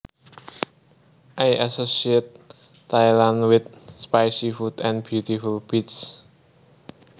I associate Thailand with spicy food and beautiful beaches